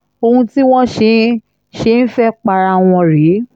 ohun tí wọ́n ṣe ń ṣe ń fẹ́ẹ́ para wọn rèé